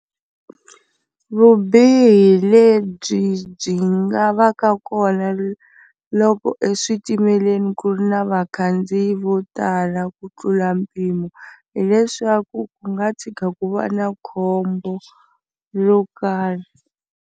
Vubihi lebyi byi nga va ka kona loko eswitimeleni ku ri na vakhandziyi vo tala ku tlula mpimo hileswaku ku nga tshika ku va na khombo ro karhi.